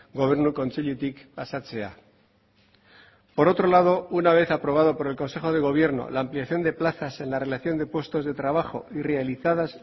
gobernu kontseilutik pasatzea por otro lado una vez aprobado por el consejo de gobierno la ampliación de plazas en la relación de puestos de trabajo y realizadas